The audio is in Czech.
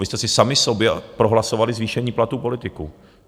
Vy jste si sami sobě prohlasovali zvýšení platů politiků.